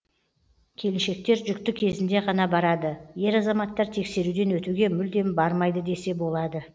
келіншектер жүкті кезінде ғана барады ер азаматтар тексеруден өтуге мүлдем бармайды десе болады